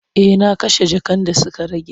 E, na kashe jakan da suka rage.